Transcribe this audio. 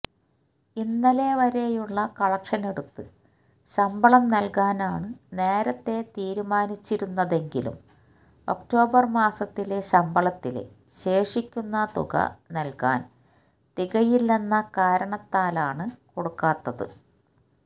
ഇന്നലെവരെയുള്ള കളക്ഷനെടുത്ത് ശമ്പളം നല്കാനാണ് നേരത്തെ തീരുമാനിച്ചിരുന്നതെങ്കിലും ഒക്ടോബര് മാസത്തിലെ ശമ്പളത്തിലെ ശേഷിക്കുന്ന തുക നല്കാന് തികയില്ലെന്ന കാരണത്താലാണ് കൊടുക്കാത്തത്